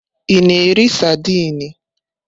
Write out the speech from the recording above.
Ị na-eri saidini?